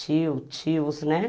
tio, tios, né?